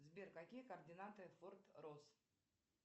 сбер какие координаты форт росс